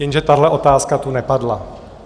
Jenže tahle otázka tu nepadla.